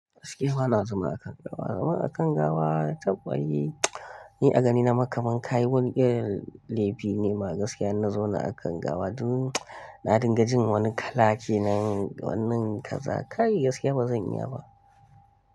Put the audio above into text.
Gaskiya bana zama a kan gawa. Zama a kan gawa taɓ ai ni a gani na ma kaman kayi wani irin lefi ne ma gaskiya in na zauna a kan gawa duk na dinga jin wani kala kenan wannan kaza, kai gaskiya bazan iya ba.